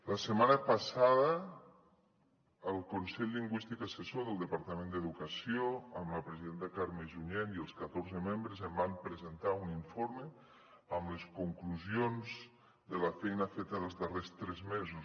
la setmana passada el consell lingüístic assessor del departament d’educació amb la presidenta carme junyent i els catorze membres em van presentar un informe amb les conclusions de la feina feta dels darrers tres mesos